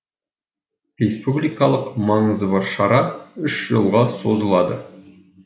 республикалық маңызы бар шара үш жылға созылады